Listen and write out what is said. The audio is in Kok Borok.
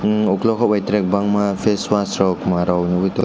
emm okolog by tere bangma facewash rok twma rok nwgoi tango.